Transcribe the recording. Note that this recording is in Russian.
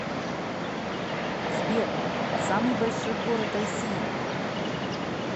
сбер самый большой город россии